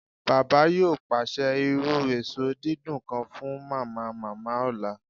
Baba yoo paṣẹ iru eso didun kan fun Mamamama ọla